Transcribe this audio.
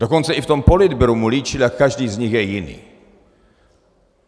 Dokonce i v tom politbyru mu líčili, jak každý z nich je jiný.